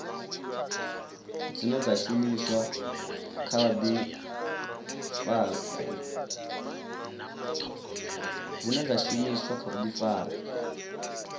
dzine dza shumiswa kha vhuḓifari